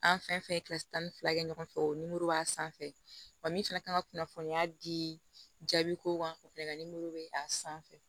An fɛn fɛn ye tan ni fila kɛ ɲɔgɔn fɛ o b'a sanfɛ wa min fɛnɛ kan ka kunnafoniya di jaabi ko ma ko fɛnɛ ka bɛ a sanfɛ